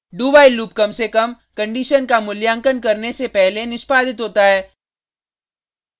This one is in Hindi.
dowhile लूप कम से कम कंडिशन का मूल्यांकन करके से पहले निष्पादित होता है